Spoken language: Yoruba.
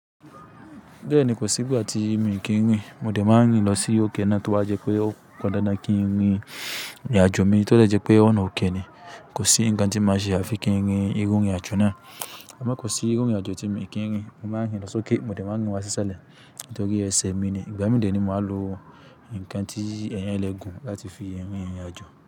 Bẹ́ẹ̀ni kò sí igbàti mí kí ń rìn. Mòde máa ń rìn lọ sí òkè náà tó ba jẹ́ pé ó pandàndan kí ń rìn ìrìnàjò mi, tọ́ jẹ́ pé ọ̀nà òkè ni. Kò sí ǹkan tí màá ṣe àfi kí ń rìn irú irìnàjò náà. Àmọ́ kò sí irú irìnàjò tí mii kì n rìn. Mo máa ń rìn lọ sókè, mòde máa ń rìn wá sísàlẹ̀, nítòri èse mi ni. Ìgbà mí de ni máa lo ǹkan tí èèyàn lè gùn láti fi rìn ìrìnàjò.